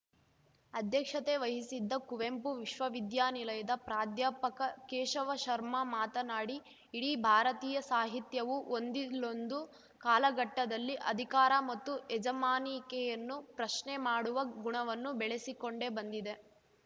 ಅಧ್ಯಕ್ಷತೆ ವಹಿಸಿದ್ದ ಕುವೆಂಪು ವಿಶ್ವವಿದ್ಯಾನಿಲಯದ ಪ್ರಾಧ್ಯಾಪಕ ಕೇಶವ ಶರ್ಮ ಮಾತನಾಡಿ ಇಡೀ ಭಾರತೀಯ ಸಾಹಿತ್ಯವು ಒಂದಿಲ್ಲೊಂದು ಕಾಲಘಟ್ಟದಲ್ಲಿ ಅಧಿಕಾರ ಮತ್ತು ಯಜಮಾನಿಕೆಯನ್ನು ಪ್ರಶ್ನೆ ಮಾಡುವ ಗುಣವನ್ನು ಬೆಳಸಿಕೊಂಡೇ ಬಂದಿದೆ